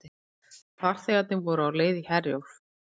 Farþegarnir voru á leið í Herjólf